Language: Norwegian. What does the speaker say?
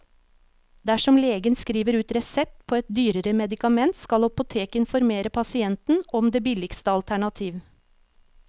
Dersom legen skriver ut resept på et dyrere medikament, skal apoteket informere pasienten om det billigste alternativ.